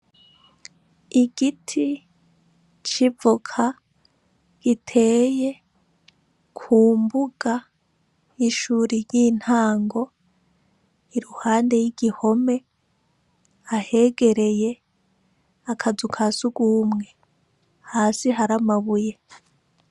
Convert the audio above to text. Igiti civoka giteye ku mbuga y'ishuri ry'intango iruhande y'igihome ahegereye akazu ka sugumwe hasi hari amabuye.